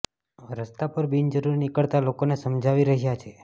રસ્તા પર બિન જરૂરી નીકળતા લોકોને સમજાવી રહ્યા છે